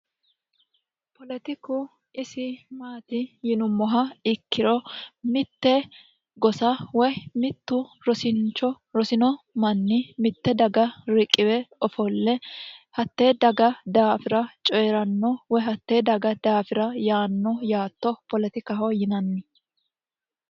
poletiku isi maati yinummoha ikkiro mitte gosa woy mittu rosincho rosino manni mitte daga riqiwe ofolle hattee daga daafira coyi'ranno woy hattee daga daafira yaanno yaatto poletikaho yinanni